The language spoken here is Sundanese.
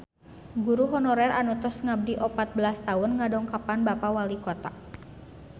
Guru honorer anu tos ngabdi opat belas tahun ngadongkapan Bapak Walikota